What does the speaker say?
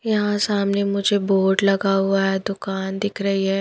यहाँ सामने मुझे बोर्ड लगा हुआ है दुकान दिख रही है।